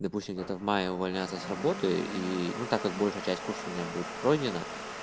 допустим где-то в мае увольняться с работы и ну так как большая часть курса у меня будет пройдена